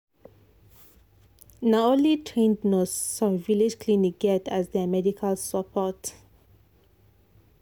na only trained nurse some village clinic get as their medical support.